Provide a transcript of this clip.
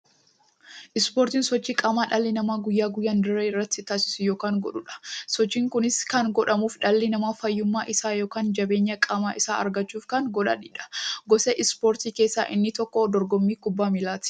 Ispoortiin sochii qaamaa dhalli namaa guyyaa guyyaan dirree irratti taasisu yookiin godhuudha. Sochiin kunis kan godhamuuf, dhalli namaa fayyummaa isaa yookiin jabeenya qaama isaa argachuuf kan godhaniidha. Gosa ispoortii keessaa inni tokko dorgommii kubbaa milaati.